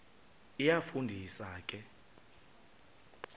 iyafu ndisa ke